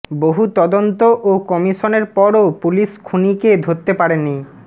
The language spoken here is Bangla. বহু তদন্ত ও কমিশনের পরও পুলিশ খুনিকে ধরতে পারে নি